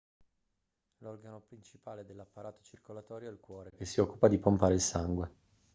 l'organo principale dell'apparato circolatorio è il cuore che si occupa di pompare il sangue